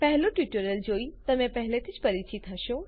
પહેલું ટ્યુટોરીયલ જોઇ તમે પહેલાથી જ પરિચિત હશો